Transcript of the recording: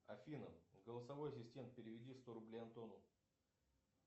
афина голосовой ассистент переведи сто рублей антону